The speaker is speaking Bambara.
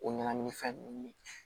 O ɲagamini fɛn ninnu ni